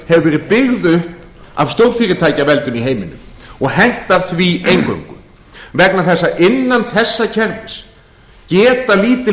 hefur verið byggð upp af stórfyrirtækjaveldinu í heiminum og hentar því eingöngu vegna þess að innan þessa kerfis geta lítil